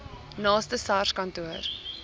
naaste sars kantoor